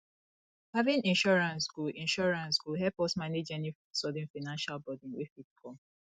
having insurance go insurance go help us manage any sudden financial burden wey fit come